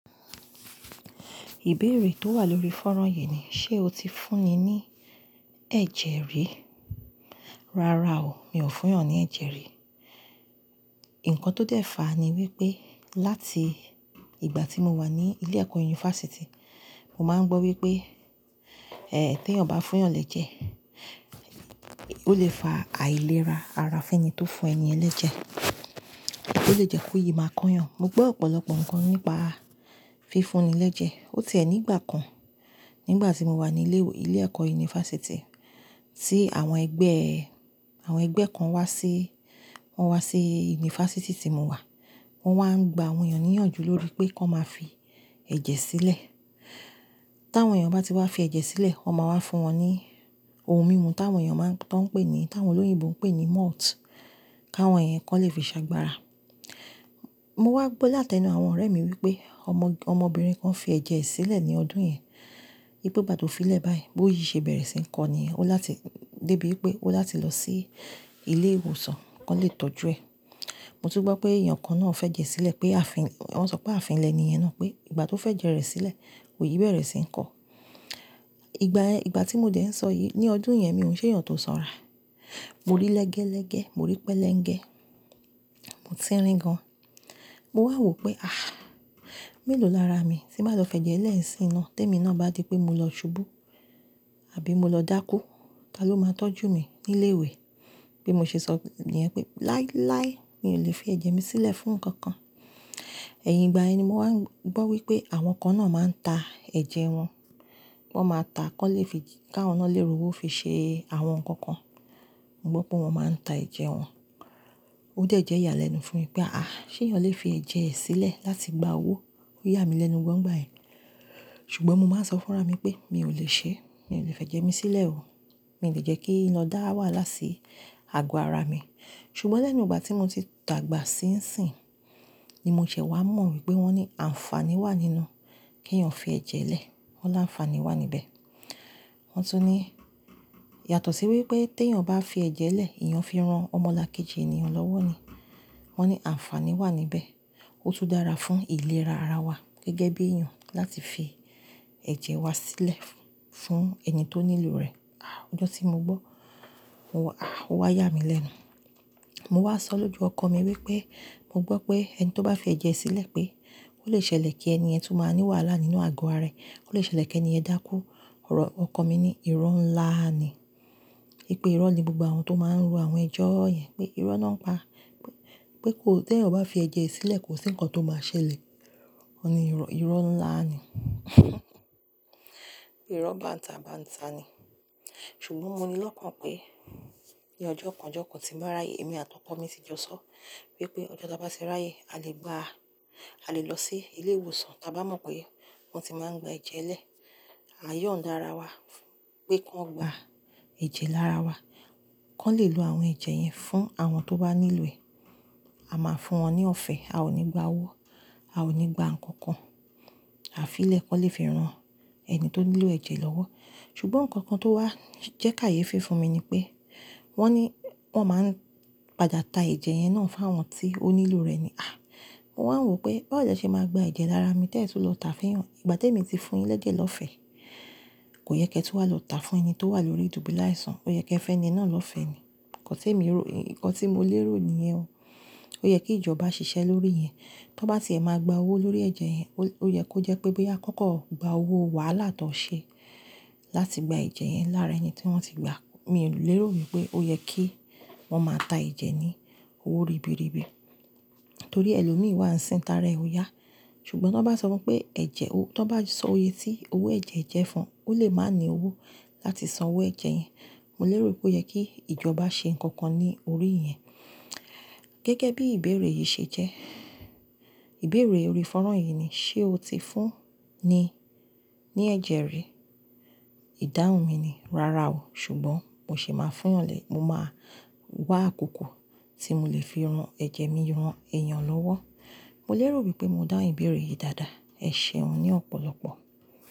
Ìbéèrè tó wà lórí fọ́nrán yìí ni, ṣe o ti fúnni ní ẹ̀jẹ̀ rí? Rárá o, mi ò fún yàn ní ẹ̀jẹ̀ rí. Ǹkan tó dẹ́fa ni wípé láti, ìgbà tí mo wà ní ilé ẹ̀kọ́ yunifásítì, mo máa ń gbọ́ wípé, eh tí èèyàn bá fún yàn lẹ́jẹ̀, ó lè fa àìlera ara fún ẹni tó fún ẹni lẹ́jẹ̀. Ó lè jẹ́ kó yìí máa kóyan. Mo gbọ́ ọ̀pọ̀lọpọ̀ ǹkan nípa fífúnni lẹ́jẹ̀. Ó ti ẹ̀ ní ìgbà kan nígbà tí mo wà ní ilé ìwé ilé ẹ̀kọ́ yunifásítì, tí àwọn ẹgbẹ́, àwọn ẹgbẹ́ kan wá sí, wọ́n wá sí yunifásítì tí mo wà. Wọn wá ń gba àwọn èèyàn ní ìyànjú lórí pé kí wọ́n máa fi, ẹ̀jẹ̀ sílẹ̀. Tí àwọn èèyàn bá ti wá fi ẹ̀jẹ̀ sílẹ̀, wọ́n máa wá fún wọn ní, ohun mímu tí àwọn èèyàn máa ń tọ́n pè ní, tí àwọn olóyìnbo ń pè ní malt, kí àwọn èèyàn kọ́ lè fi ṣàgbára. Mo wá gbọ́ láti ẹnu àwọn ọ̀rẹ́ mi wípé ọmọ, ọmọbìnrin kan fi ẹ̀jẹ̀ sílẹ̀ ní ọdún yẹn. Bí pé ìgbà tó fi lẹ̀ báyìí, bóyí ṣe bẹ̀rẹ̀ sí ń kọni ó láti dé bíi pé ó láti lọ sí, ilé ìwòsàn kí wọ́n lè tọ́jú ẹ̀. Mo tún gbọ́ pé èèyàn kan náà fẹ́ jẹ sílẹ̀ pé àfín, wọ́n sọ pé àfíni lẹ́niyẹn náà pé ìgbà tó fẹ́ jẹ rẹ̀ sílẹ̀, òyi bẹ̀rẹ̀ sí ń kọ. Ìgbà, ìgbà tí mo dẹ̀ ń sọ yìí, ní ọdún yẹn mi ò ṣe èèyàn tó sanra. Mo rí lẹ́gẹ́lẹ́gẹ́, mo rí pẹ́lẹ́ńgẹ, mo tí rí gan. Mo wá wò pé àh! Mélòó lára mi, tí máa lọ fẹ́ jẹ ẹ́ lẹ́yìn sí iná tó mi náà bá di pé mo lọ subú àbí mo lọ dákú? Ta ló máa tọ́jú mi, nílé ìwé? Bí mo ṣe sọ nì yàn, pé láíláí mi ò lè fi ẹ̀jẹ̀ mi sílẹ̀ fún nǹkan kan. Ẹyin ìgbà ye ni mo wá ń gbọ́ wípé àwọn kan náà máa ń ta, ẹ̀jẹ̀ wọn. Wọn máa ta á kí wọ́n lè fi, kí wọn náà lè ro owó fi ṣe, àwọn nǹkan kan. Mo gbọ́ pé wọ́n máa ń ta ẹ̀jẹ̀ wọn. Ó dẹ̀ jẹ́ ìyàlẹ́nu fún mi pé àh! Ṣé èèyàn lè fi ẹ̀jẹ̀ rẹ̀ sílẹ̀ láti gba owó? Ó yà mí lẹ́nu gbọ́n gbàyìí. Ṣùgbọ́n mo máa ń sọ fún ra mi pé mi ò lè ṣe é, mi ò lè fẹ́ jẹ ẹ́ mi sílẹ̀ o. Mi ò lè jẹ́ kí lo dá wàhálà si, àgọ́ ara mi. Ṣùgbọ́n lẹ́nu ìgbà tí mo ti tàgbà síìnsìn, ni mo ṣe wá mọ̀ wípé wọ́n ní àǹfàní wà nínú, kí èèyàn fi ẹ̀jẹ̀ lẹ̀. Wọ́n láǹfàní wà níbẹ̀. Wọ́n tún ní, yàtọ̀ sí wípé tí èèyàn bá fi ẹ̀jẹ̀ lẹ̀, èèyàn fi rán ọmọlákéjì ènìyàn lọ́wọ́ ni. Wọ́n ní àǹfàní wà níbẹ̀. Ó tún dára fún ìlera ara wa, gẹ́gẹ́ bí èèyàn láti fi, ẹ̀jẹ̀ wa sílẹ̀, fún ẹni tó nílò rẹ̀. Ah! Ọjọ́ tí mo gbọ́, mo wá ah! Ó wá yà mí lẹ́nu. Mo wá sọ lójo ọkọ mi wípé, mo gbọ́ pé ẹni tó bá fi ẹ̀jẹ̀ sílẹ̀ pé, ó lè ṣẹlẹ̀ kí ẹni ẹ́ tún máa ní wàhálà nínú àgọ́ ara rẹ̀. Ó lè ṣẹlẹ̀ kí ẹni yẹ́n dákú. Ọ̀rọ̀ ọkọ mi ní, iro ńlá ni. Nipe iro ni gbogbo àwọn tó má ro awon eyo yẹn pé ìró lọ ń pa. Pé te èèyàn bá fi ẹ̀jẹ̀ ẹ sìlè kò sí nkan to ma ṣèlè. Ni iro, iro ńlá ni uhmm! Iro bántabata ni Ṣùgbọ́n mo ní lọ́kàn pé, ní ọjọ́ kan ọjọ́ kan tí máa ráyé, èmi àti ọkọ mi ti jọ sọ, wípé ọjọ́ tí a bá ti ráyé, a lè gba, a lè lọ sí ilé ìwòsàn tí a bá mọ̀ pé, wọ́n ti máa ń gba ẹ̀jẹ̀ lẹ̀. A yóò ń dá ara wa, fún pé kí wọ́n gba, ẹ̀jẹ̀ lára wa. Kí wọ́n lè lo àwọn ẹ̀jẹ̀ yẹn fún àwọn tó bà nílò è. A máa fún wọn ní ọ̀fẹ́. A ò ní gba owó. A ò ní gba nǹkan kan. Àfi lẹ̀ kí wọ́n lè fi rán, ẹni tó nílò ẹ̀jẹ̀ lọ́wọ́. Ṣùgbọ́n nǹkan kan tó wá jẹ́ káye fí funmi ni pé. Wọ́n ní, wọ́n máa ń, padà ta ẹ̀jẹ̀ yẹn náà fún àwọn tí ó nílò rẹ̀ ni. Ah! Mo wá ń wò pé bó lẹ̀ ṣe máa gba ẹ̀jẹ̀ lára mi tẹ́ tun lọ tà fún èèyàn Ìgbà tí èmi ti fún yín lẹ́jẹ̀ lọ́fẹ̀ẹ́, kò yẹ kí ẹ tun wá lọ tà fún ẹni tó wà lórí dùbúláìsàn. Ó yẹ kí ẹ fẹ́ni náà lọ́fẹ̀ẹ́ ni. Ǹkan tí èmi rò, ǹkan tí mo lérò ni yẹn o. Ó yẹ kí ìjọba ṣiṣẹ́ lórí yẹn. Tí wọ́n bá ti lè máa gba owó lórí ẹ̀jẹ̀ yẹn, ó yẹ kó jẹ́ pé bó ya nkankan gba owó wàhálà tó ṣe, láti gba ẹ̀jẹ̀ yẹn lára ẹni tí wọ́n ti gba. Mi ò lérò wípé ó yẹ kí, wọ́n máa ta ẹ̀jẹ̀ ní, owó ribiribi torí ẹlòmí wà ń sìn tàárẹ̀ oyà. Ṣùgbọ́n tí wọ́n bá sọ pé ẹ̀jẹ̀, tí wọ́n bá sọ oye tí owó ẹ̀jẹ̀ jẹ́ fún, ó lè má ní owó láti san owó ẹ̀jẹ̀ yẹn. Mo lérò wípé ó yẹ kí, ìjọba ṣe ǹkan kan ní orí yẹn. Gẹ́gẹ́ bí ìbéèrè yìí ṣe jẹ́. Ìbéèrè orí fọ́nrán yìí ni, ṣe o ti fúnni, ní ẹ̀jẹ̀ rí? Ìdáhùn mi ni, rárá o. Ṣùgbọ́n mo sì máa fún ìyàn lè, mo máa wá àkókò tí mo lè fi ran ẹ̀jẹ̀ mi ran èèyàn lọ́wọ́. Mo lérò wípé mo dá ìbéèrè yìí dáadáa eh Ẹ ṣe un ní ọ̀pọ̀lọpọ̀.